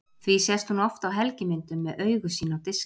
því sést hún oft á helgimyndum með augu sín á diski